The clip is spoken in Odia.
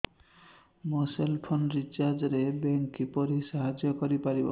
ମୋ ସେଲ୍ ଫୋନ୍ ରିଚାର୍ଜ ରେ ବ୍ୟାଙ୍କ୍ କିପରି ସାହାଯ୍ୟ କରିପାରିବ